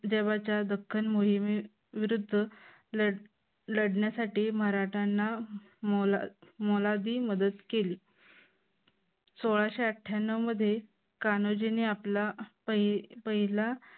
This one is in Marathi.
तेव्हाच्या दख्खन मोहिमे विरुद्ध लढण्यासाठी मराठ्यांना मोलाची मदत केली. सोळाशे अठ्यांनव मध्ये कान्होजींनी आपला पहिला